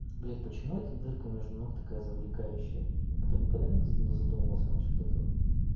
блять почему это дырка между ног такая завлекающая никто никогда не не задумывался насчёт этого